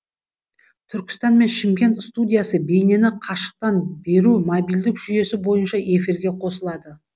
түркістан мен шымкент студиясы бейнені қашықтан беру мобильдік жүйесі бойынша эфирге қосылады